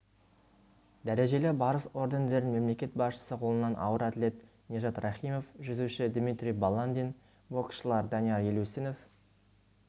дәрежелі барыс ордендерін мемлекет басшысы қолынан ауыр атлет нижат рахимов жүзуші дмитрий баландин боксшылар данияр елеусінов